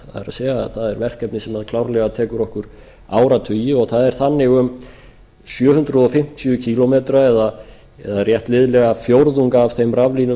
er það er verkefni sem klárlega tekur okkur áratugi og það er þannig um sjö hundruð fimmtíu kílómetra eða rétt liðlega fjórðung af þeim raflínum